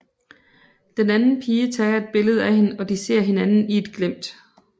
Den anden pige tager et billede af hende og de ser hinanden i et glimt